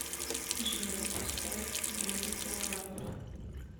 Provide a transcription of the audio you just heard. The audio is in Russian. джой поставь бьютифул лайф